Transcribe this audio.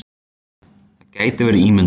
Það gæti verið ímyndun.